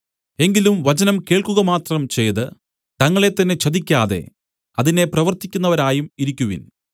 എങ്കിലും വചനം കേൾക്കുക മാത്രം ചെയ്ത് തങ്ങളെത്തന്നെ ചതിക്കാതെ അതിനെ പ്രവൃത്തിക്കുന്നവരായും ഇരിക്കുവിൻ